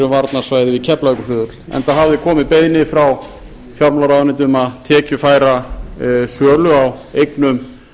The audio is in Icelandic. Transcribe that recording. varnarsvæði við keflavíkurflugvöll enda hafði komið beiðni frá fjármálaráðuneytinu um að tekjufæra sölu á eignum